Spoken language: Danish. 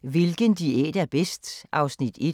15:40: Hvilken diæt er bedst? (Afs. 1)